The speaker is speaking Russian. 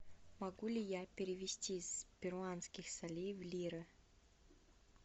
могу ли я перевести с перуанских солей в лиры